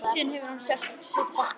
Síðan hefur hann setið fastur.